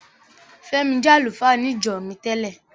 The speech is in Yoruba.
Fẹ́mi jẹ́ àlùfáà ní ìjọ mi tẹ́lẹ̀.